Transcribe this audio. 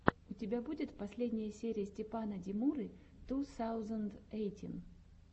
у тебя будет последняя серия степана демуры ту саузэнд эйтин